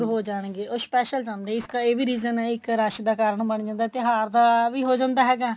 ਹੋ ਜਾਣਗੇ ਉਹ special ਜਾਂਦੇ ਏ ਇਹ ਵੀ reason ਏ ਇੱਕ rash ਦਾ ਕਾਰਣ ਬਣ ਜਾਂਦਾ ਤਿਉਹਾਰ ਦਾ ਵੀ ਹੋ ਜਾਂਦਾ ਹੈਗਾ